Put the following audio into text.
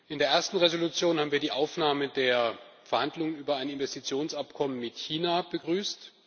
In der ersten Entschließung haben wir die Aufnahme der Verhandlungen über ein Investitionsabkommen mit China begrüßt.